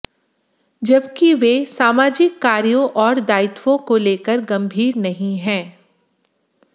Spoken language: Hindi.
जबकि वे सामाजिक कार्यों और दायित्वों को लेकर गंभीर नहीं हैं